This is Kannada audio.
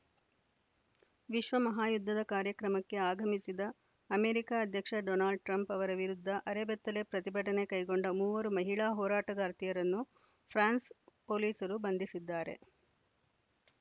ವಿಶ್ವ ಮಹಾಯುದ್ಧದ ಕಾರ್ಯಕ್ರಮಕ್ಕೆ ಆಗಮಿಸಿದ ಅಮೆರಿಕ ಅಧ್ಯಕ್ಷ ಡೊನಾಲ್ಡ್‌ ಟ್ರಂಪ್‌ ಅವರ ವಿರುದ್ಧ ಅರೆಬೆತ್ತಲೆ ಪ್ರತಿಭಟನೆ ಕೈಗೊಂಡ ಮೂವರು ಮಹಿಳಾ ಹೋರಾಟಗಾರ್ತಿಯರನ್ನು ಫ್ರಾನ್ಸ್‌ ಪೊಲೀಸರು ಬಂಧಿಸಿದ್ದಾರೆ